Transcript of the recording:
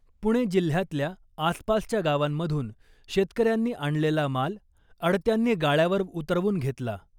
पुणे जिल्ह्यातल्या आसपासच्या गावांमधून शेतकऱ्यांनी आणलेला माल आडत्यांनी गाळ्यावर उतरवून घेतला .